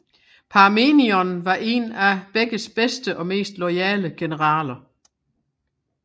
Parmenion var en af begges bedste og mest loyale generaler